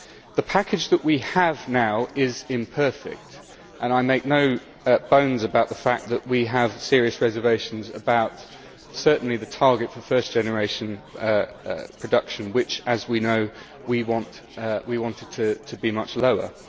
The package that we have now is imperfect and I make no bones about the fact that we have serious reservations, certainly about the target for first generation production which, as we know, we wanted to be much lower.